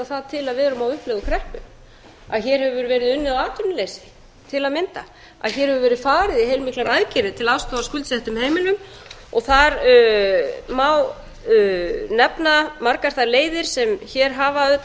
við erum á uppleið úr kreppu og að hér hefur verið unnið á atvinnuleysi hér hefur verið farið í heilmiklar aðgerðir til að aðstoða skuldsett heimili og þar má nefna margar þær leiðir sem hér hafa